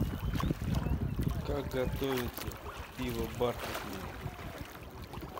как готовится пиво бархатное